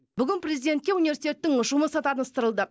бүгін президентке университеттің жұмысы таныстырылды